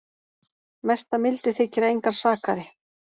Mesta mildi þykir að engan sakaði